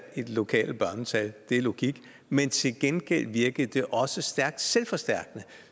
i de lokale børnetal det er logik men til gengæld virkede det også stærkt selvforstærkende